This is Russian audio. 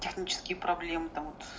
технические проблемы там вот